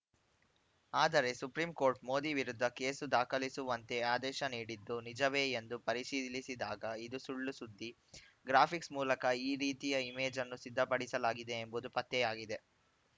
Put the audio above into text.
ಆದರೆ ಸುಪ್ರೀಂಕೋರ್ಟ್‌ ಮೋದಿ ವಿರುದ್ಧ ಕೇಸು ದಾಖಲಿಸುವಂತೆ ಆದೇಶ ನೀಡಿದ್ದು ನಿಜವೇ ಎಂದು ಪರಿಶೀಲಿಸಿದಾಗ ಇದು ಸುಳ್ಳುಸುದ್ದಿ ಗ್ರಾಫಿಕ್ಸ್‌ ಮೂಲಕ ಈ ರೀತಿಯ ಇಮೇಜನ್ನು ಸಿದ್ಧಪಡಿಸಲಾಗಿದೆ ಎಂಬುದು ಪತ್ತೆಯಾಗಿದೆ